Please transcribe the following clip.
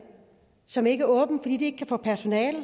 som ikke er åben fordi de ikke kan få personale